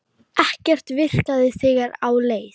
Ekkert virkaði þegar á leið.